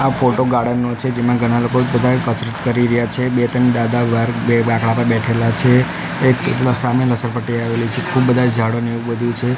આ photo garden નો છે જેમાં ઘણા લોકો બધા કસરત કરી રહ્યા છે બે ત્રણ દાદા બાર બે બાકડા પર બેઠેલા છે એક સામે લસરપટ્ટી આવેલી છે ખૂબ બધા ઝાડો ને એવું બધુ છે.